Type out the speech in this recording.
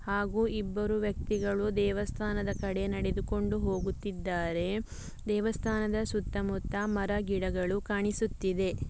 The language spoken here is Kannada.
ಹಾಗು ಇಬ್ಬರು ವ್ಯಕ್ತಿಗಳು ದೇವಸ್ಥಾನದ ಕಡೆ ನಡೆದುಕೊಂಡು ಹೋಗುತ್ತಿದ್ದಾರೆ ದೇವಸ್ಥಾನದ ಸುತ್ತ ಮುತ್ತ ಮರಗಿಡಗಳು ಕಾಣಿಸುತ್ತಿದೆ .